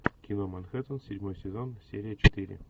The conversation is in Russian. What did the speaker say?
кино манхэттен седьмой сезон серия четыре